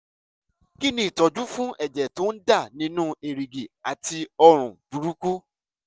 kí ni ìtọ́jú fún ẹ̀jẹ̀ tó ń dà nínú èrìgì àti òórùn burúkú?